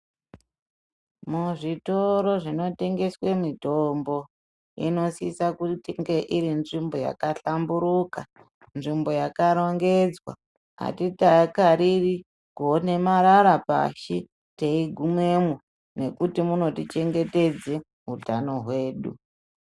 Muzvitoro zvinotengeswe mutombo inosisa kunge irinzvimbo yakahlamburuka, nzvimbo yakarongedzwa. Hatikariri kuone marara pashi teigumemwo nekuti munotichengetedze utano hwedu.